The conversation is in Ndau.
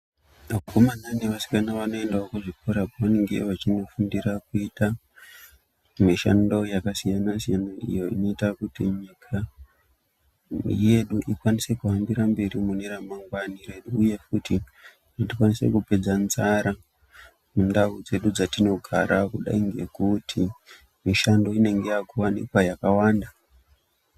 Vakomana nevasikana vanoendao kuzvikora kwavanenge vachinofundira kuita mishando yakandosiyana siyana iyo inoita kuti nyika yedu ikwanise kuhambira mberi mune ramangwani uye futi tikwanise kupedza nzara mundau dzedu dzatinogara kudai nekuti mishando inenge yaakuwanikwa yakawanda.